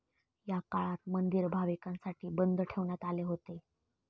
या काळात मंदिर भाविकांसाठी बंद ठेवण्यात आले होते.